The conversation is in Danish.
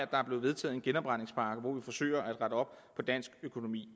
der er blevet vedtaget en genopretningspakke hvor vi forsøger at rette op på dansk økonomi